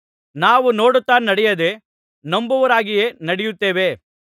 ನಾವು ನೋಡುತ್ತಾ ನಡೆಯದೇ ನಂಬುವವರಾಗಿಯೇ ನಡೆಯುತ್ತೇವೆ